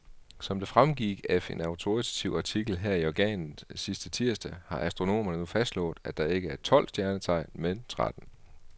Som det fremgik af en autoritativ artikel her i organet sidste tirsdag, har astronomerne nu fastslået, at der ikke er tolv stjernetegn, men tretten.